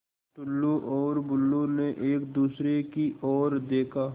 टुल्लु और बुल्लु ने एक दूसरे की ओर देखा